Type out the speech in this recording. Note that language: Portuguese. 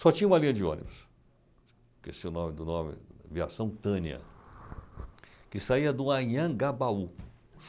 Só tinha uma linha de ônibus, esqueci o nome do nome, aviação Tânia, que saía do Anhangabaú.